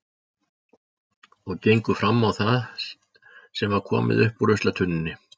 Og gengu fram á það sem var komið upp úr ruslatunnunni.